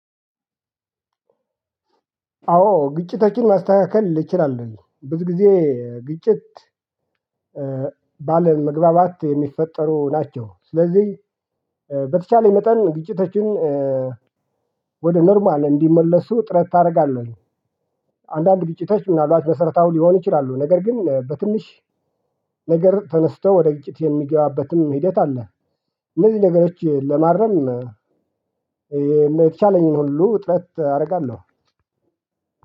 አዎ ግጭቶችን ማስተካከል እችላለሁኝ ብዙ ጊዜ ግጭት ባለመግባባት የሚፈጠሩ ናቸው። ስለዚህ በተቻለኝ መጠን ግጭቶችን ወደ ኖርማል እንዲመለሱ ጥረት አደርጋለሁኝ። አንዳንድ ግጭቶች ምናልባት መሰረታዊ ሊሆኑ ይችላሉ ነገር ግን በትንሽ ነገር ተነስተው ወደ ግጭት የሚገባበትም ሂደት አለ። እነዚህ ነገሮች ለማረም የተቻለኝን ሁሉ ጥረት አደርጋለሁ።